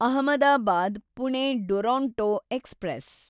Ahmedabad Pune Duronto express